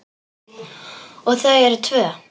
Og þau eru tvö.